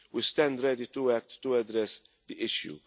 We stand ready to act to address the